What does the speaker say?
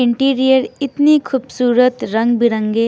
interior इतनी खुबसूरत रंग बिरंगे--